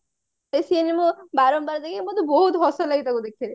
ସେଇ scene ଗୁରା ବାରମ୍ବାର ଦେଖିକି ମତେ ବହୁତ ହସ ଲାଗେ ତାକୁ ଦେଖିବାକୁ